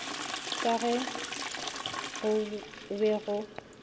ka ge go be go